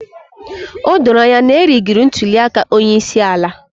O doro anya na a rigiri ntuli aka onye isi ala.